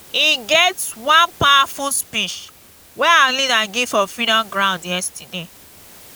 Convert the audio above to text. e get one powerful speech wey our leader give for freedom ground yesterday